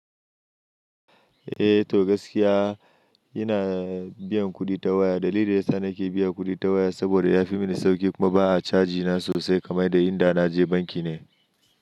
Eh to gaskiya ina biyan kuɗi ta waya. Dalilin da yasa nake biyan kuɗi ta waya saboda yafi mini sauƙi kuma ba a caji na sosai kamar da inda na je banki ne.